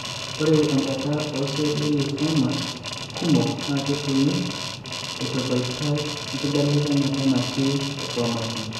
Ore enchata ooceelli elymphomas kumok naa ketumi eitaboitae oenkibelekenyata enetii enchromosome.